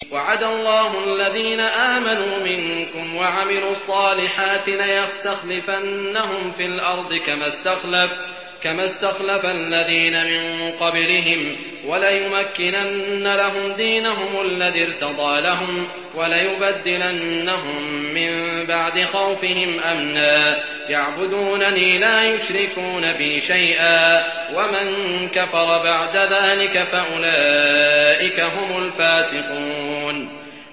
وَعَدَ اللَّهُ الَّذِينَ آمَنُوا مِنكُمْ وَعَمِلُوا الصَّالِحَاتِ لَيَسْتَخْلِفَنَّهُمْ فِي الْأَرْضِ كَمَا اسْتَخْلَفَ الَّذِينَ مِن قَبْلِهِمْ وَلَيُمَكِّنَنَّ لَهُمْ دِينَهُمُ الَّذِي ارْتَضَىٰ لَهُمْ وَلَيُبَدِّلَنَّهُم مِّن بَعْدِ خَوْفِهِمْ أَمْنًا ۚ يَعْبُدُونَنِي لَا يُشْرِكُونَ بِي شَيْئًا ۚ وَمَن كَفَرَ بَعْدَ ذَٰلِكَ فَأُولَٰئِكَ هُمُ الْفَاسِقُونَ